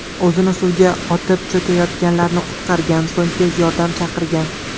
O‘zini suvga otib, cho‘kayotganlarni qutqargan, so‘ng tez yordam chaqirgan.